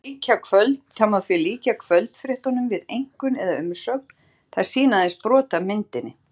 Það má því líkja kvöldfréttunum við einkunn eða umsögn- þær sýna aðeins brot af myndinni.